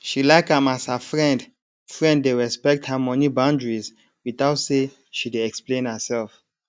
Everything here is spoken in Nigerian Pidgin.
she like am as her friend friend dey respect her money boundaries without say she dey explain herself